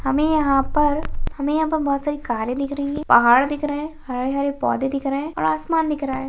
हमे यहाँ पर हमे यहाँ पर बहुत सारी कारे दिख रहीं हैं पहाड़ दिख रहे हैं हरे-हरे पौधे दिख रहे हैं और आसमान दिख रहा हैं।